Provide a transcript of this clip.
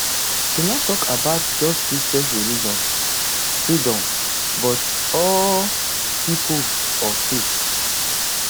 i no tok about just christian religious freedoms [but] all pipo of faith